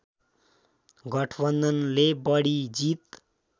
गठबन्धनले बढी जित